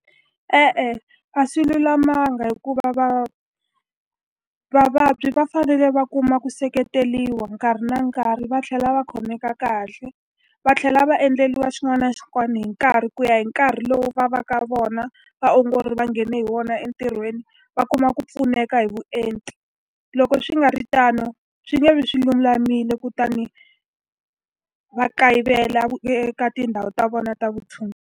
E-e a swi lulamanga hikuva vabyi va fanele va kuma ku seketeriwa nkarhi na nkarhi va tlhela va khomeka kahle. Va tlhela va endleriwa xin'wana na xin'wana hi nkarhi ku ya hi nkarhi lowu va va ka vona vaongori va nghene hi wona entirhweni, va kuma ku pfuneka hi vuenti. Loko swi nga ri tano, swi nge vi swi lulamile kutani va kayivela eka tindhawu ta vona ta vutshunguri.